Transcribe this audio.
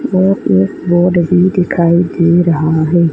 और एक बोर्ड भी दिखाई दे रहा है।